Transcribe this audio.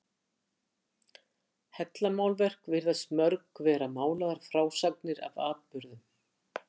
Hellamálverk virðast mörg vera málaðar frásagnir af atburðum.